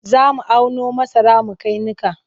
Za mu auno masara mu kai niƙa.